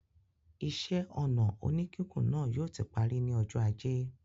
Iṣẹ́-ọnà oníkíkùn náà yóò ti parí ní ọjọ́ ajé.